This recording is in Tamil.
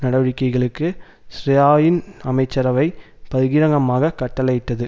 நடவடிக்கைகளுக்கு ஷ்ரராயின் அமைச்சரவை பகிரங்கமாக கட்டளையிட்டது